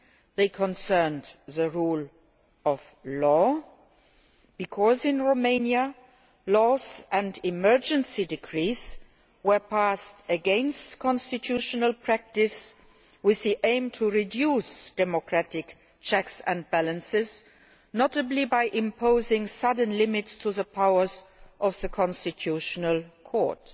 They concerned the rule of law, because in Romania laws and emergency decrees were passed against constitutional practice with the aim of reducing democratic checks and balances, notably by imposing sudden limits to the powers of the constitutional court.